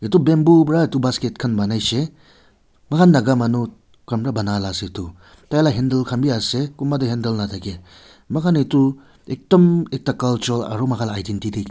eto bamboo para eto basket kan ponaishe moikan naga manu kan bara poana ase eto taila handle be ase konba toh handle nataki moikan eto ekdom ekta cultural aro moikan laga identity .